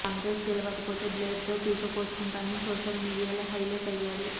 కాంగ్రెస్ గెలవకపోతే బ్లేడ్ తో పీక కోసుకుంటానని సోషల్ మీడియాలో హైలైట్ అయ్యాడు